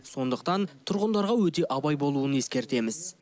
сондықтан тұрғындарға өте абай болуын ескертеміз